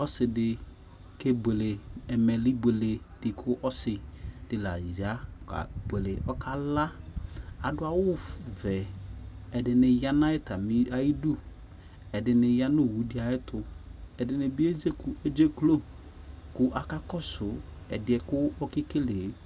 ɔsidi kɛbɔle ɛnɛliɓelɛ dikʊ ɔsi dɩlaza kă bɛlɛ adɔawɔ vɛ ɛdini ya nu ɔwɔto akakɔso